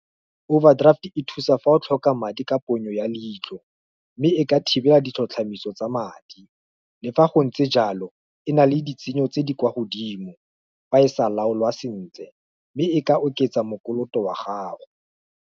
Overdraft e thusa fa o tlhoka madi ka ponyo ya leitlho, mme e ka thibela ditlhotlhamiso tsa madi, le fa go ntse jalo, e na le ditshenyo tse di kwa godimo, fa e sa laolwa sentle, mme e ka oketsa mokoloto wa gago.